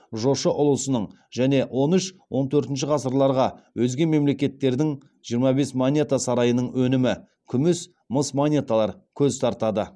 жошы ұлысының және он үш он төртінші ғасырларға өзге мемлекеттердің жиырма бес монета сарайының өнімі күміс мыс монеталар көз тартады